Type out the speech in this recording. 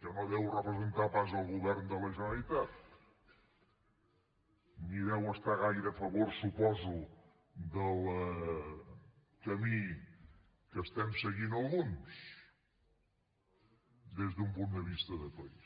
que no deu representar pas el govern de la generalitat ni deu estar gaire a favor suposo del camí que estem seguint alguns des d’un punt de vista de país